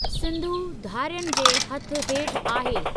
सिंधु धारियनि जे हथ हेठि आहे।